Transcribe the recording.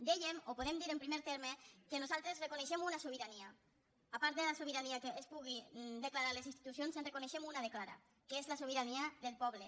dèiem o podem dir en primer terme que nosaltres reconeixem una sobirania a part de la sobirania que es pugui declarar a les institucions en reconeixem una de clara que és la sobirania del poble